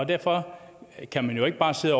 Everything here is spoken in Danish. derfor kan man jo ikke bare sidde